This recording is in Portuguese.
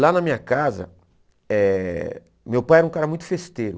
Lá na minha casa, eh meu pai era um cara muito festeiro.